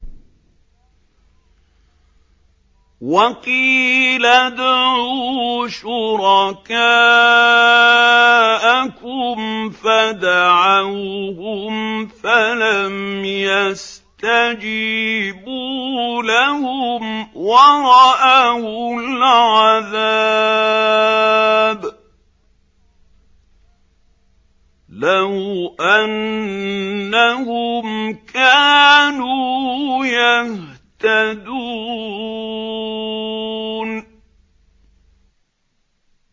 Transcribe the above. وَقِيلَ ادْعُوا شُرَكَاءَكُمْ فَدَعَوْهُمْ فَلَمْ يَسْتَجِيبُوا لَهُمْ وَرَأَوُا الْعَذَابَ ۚ لَوْ أَنَّهُمْ كَانُوا يَهْتَدُونَ